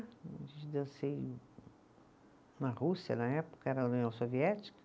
Dancei na Rússia na época, era a União Soviética.